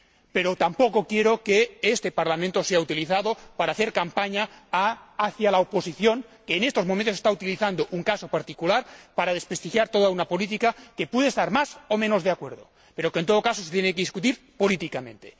Pero tampoco quiero que este Parlamento sea utilizado para hacer campaña para la oposición, que, en estos momentos, está utilizando un caso particular para desprestigiar toda una política, con la que se puede estar más o menos de acuerdo, pero que, en todo caso, se tiene que debatir políticamente.